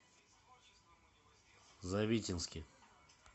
завитинске